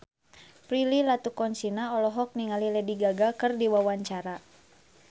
Prilly Latuconsina olohok ningali Lady Gaga keur diwawancara